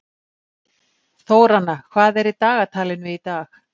Þóranna, hvað er í dagatalinu í dag?